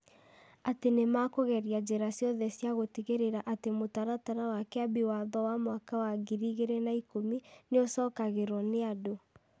Atĩ nĩ mekũgeria njĩra ciothe cia gũtigĩrĩra atĩ Mũtaratara wa Kĩambi Watho wa mwaka wa ngiri igĩrĩ na ikũmi nĩ ũcokagĩrio nĩ andũ.